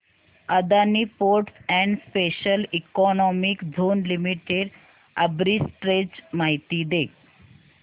Adani ports and special economic zone limited arbitrage माहिती दे